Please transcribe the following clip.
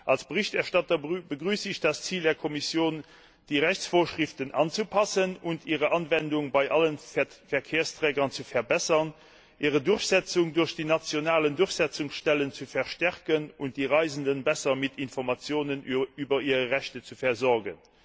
Als Berichterstatter begrüße ich das Ziel der Kommission, die Rechtsvorschriften anzupassen und ihre Anwendung bei allen Verkehrsträgern zu verbessern, ihre Durchsetzung durch die nationalen Durchsetzungsstellen zu verstärken und die Reisenden besser mit Informationen über ihre Rechte zu versorgen.